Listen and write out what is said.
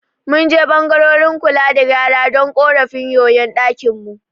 Mun je ɓangaren kula da gyara don ƙorafin yoyon ɗakin mu.